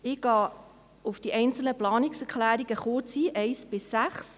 Ich gehe auf die einzelnen Planungserklärungen, 1 bis 6, kurz ein.